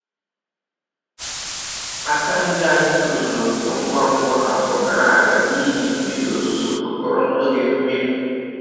Aka nri anyị tozuru oke ngwa ngwa afọ gara aga n’ihi mmiri ozuzo kwekọrọ n’oge mmiri.